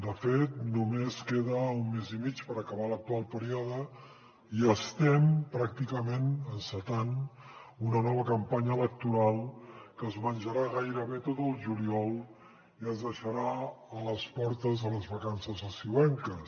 de fet només queda un mes i mig per acabar l’actual període i estem pràcticament encetant una nova campanya electoral que es menjarà gairebé tot el juliol i ens deixarà a les portes de les vacances estiuenques